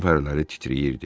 Burun fərələri titrəyirdi.